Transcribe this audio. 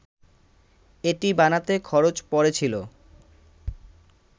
এটি বানাতে খরচ পড়েছিল